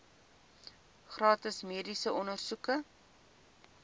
gratis mediese ondersoeke